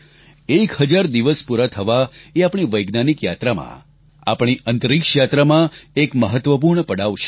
એક હજાર દિવસ પૂરા થવાં એ આપણી વૈજ્ઞાનિક યાત્રામાં આપણી અંતરિક્ષ યાત્રામાં એક મહત્વપૂર્ણ પડાવ છે